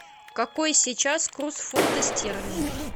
какой сейчас курс фунта стерлинга